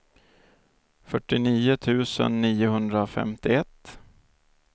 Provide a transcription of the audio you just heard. fyrtionio tusen niohundrafemtioett